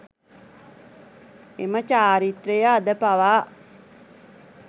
එම චාරිත්‍රය අද පවා